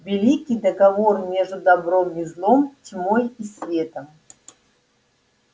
великий договор между добром и злом тьмой и светом